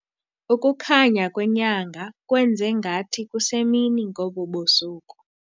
Ukukhanya kwenyanga kwenze ngathi kusemini ngobu busuku.